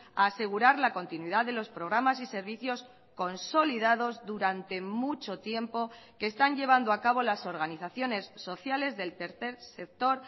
a asegurar la continuidad de los programas y servicios consolidados durante mucho tiempo que están llevando a cabo las organizaciones sociales del tercer sector